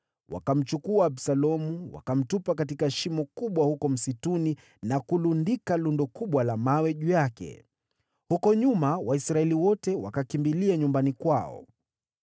Wakamchukua Absalomu, wakamtupa katika shimo kubwa huko msituni na kulundika lundo kubwa la mawe juu yake. Huko nyuma, Waisraeli wote wakakimbilia nyumbani kwao.